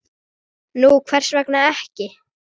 Nú, hvers vegna ekki?